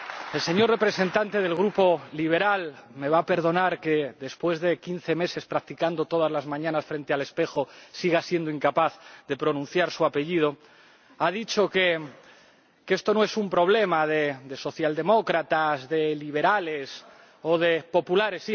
El señor representante del Grupo liberal —me va a perdonar que, después de quince meses practicando todas las mañanas frente al espejo, siga siendo incapaz de pronunciar su apellido— ha dicho que esto no es un problema de socialdemócratas, de liberales o de populares.